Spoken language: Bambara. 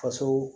Faso